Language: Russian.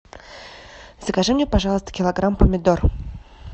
закажи мне пожалуйста килограмм помидор